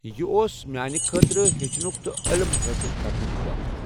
یہِ اوس میانہِ خٲطرٕ ہچھنُک تہٕ علم حِٲصِل کرنُک وقت۔